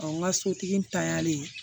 Ɔ n ka sotigi n tanyalen